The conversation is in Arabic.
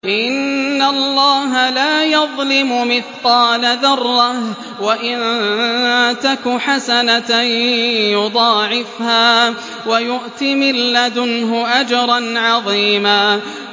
إِنَّ اللَّهَ لَا يَظْلِمُ مِثْقَالَ ذَرَّةٍ ۖ وَإِن تَكُ حَسَنَةً يُضَاعِفْهَا وَيُؤْتِ مِن لَّدُنْهُ أَجْرًا عَظِيمًا